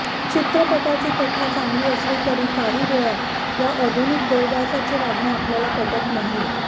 चित्रपटाची कथा चांगली असली तरी काही वेळा या आधुनिक देवदासाचे वागणे आपल्याला पटत नाही